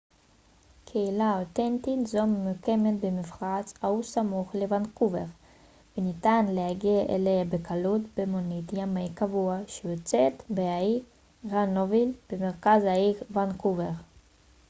קהילה אותנטית זו ממוקמת במפרץ האו סמוך לוונקובר וניתן להגיע אליה בקלות במונית ימי קבועה שיוצאת מהאי גרנוויל במרכז העיר וונקובר